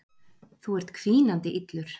Þú ert hvínandi illur.